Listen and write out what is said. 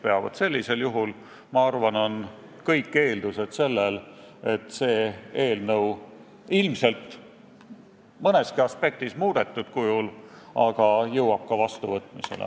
Ma arvan, et sellisel juhul on olemas kõik eeldused, et see eelnõu – ilmselt mõneski aspektis muudetud kujul – jõuab ka vastuvõtmisele.